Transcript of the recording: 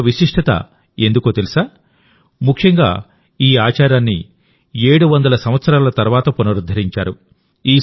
ఇంత విశిష్టత ఎందుకో తెలుసా ముఖ్యంగాఈ ఆచారాన్ని 700 సంవత్సరాల తర్వాత పునరుద్ధరించారు